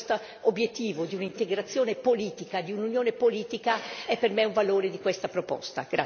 Anche questo obiettivo, di un'integrazione politica, di un'unione politica è per me un valore di questa proposta.